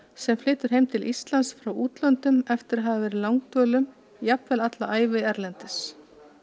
sem flytur heim til Íslands frá útlöndum eftir að hafa verið langdvölum jafnvel alla ævi erlendis